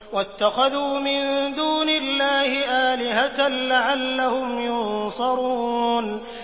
وَاتَّخَذُوا مِن دُونِ اللَّهِ آلِهَةً لَّعَلَّهُمْ يُنصَرُونَ